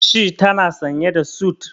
Shi tana sanye da sut.